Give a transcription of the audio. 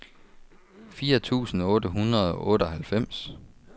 fire tusind otte hundrede og otteoghalvfems